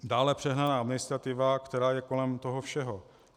Dále přehnaná administrativa, která je kolem toho všeho.